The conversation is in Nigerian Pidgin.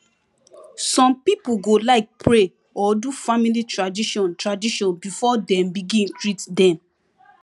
some pipo go like pray or do family tradition tradition before dem begin treat dem